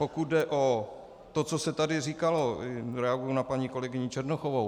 Pokud jde o to, co se tady říkalo, reaguji na paní kolegyni Černochovou.